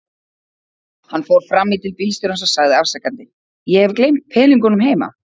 Hann fór fram í til bílstjórans og sagði afsakandi: Ég hef gleymt peningunum heima.